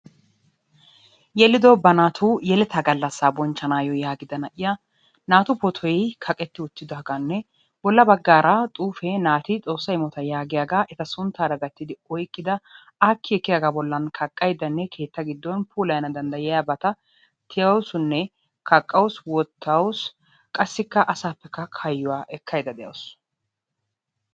Yeliddo ba naatu yelettaa gallassa bonchchanaayo yaagida na'iya naatu pootoy kaqqetti uttidaagaanne bolla baggaara xuufee naati xoossa immota yaagiyaagaa eta sunttaara gattidi oyqqida aakki ekkiyagaa bollan kaqqaydanne keettaa gidduwan puulayana danddayiyabata tiyaawusunne kaqqawusu wotawusu qassikka asappekka hayuwa ekkaydda de'awusu.